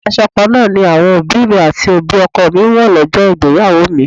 Aṣọ kan náà ni àwọn òbí mi àti òbí ọkọ mi wó lọ́jọ́ ìgbéyàwó mi.